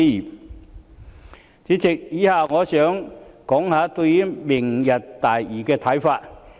代理主席，以下我想談談對"明日大嶼"的看法。